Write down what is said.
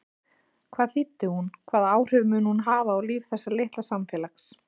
Hvað þýddi hún, hvaða áhrif mun hún hafa á líf þessa litla samfélags?